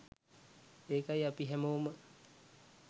ඒකයි අපි හැමෝම